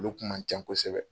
Olu kun man can kosɛbɛ.